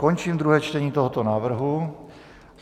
Končím druhé čtení tohoto návrhu.